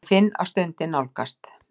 Ég finn að stundin nálgast.